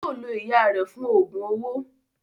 Yóò lo ìyá rẹ̀ fún Ògùn owó